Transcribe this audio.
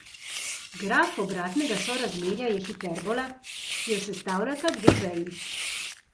Graf obratnega sorazmerja je hiperbola, ki jo sestavljata dve veji.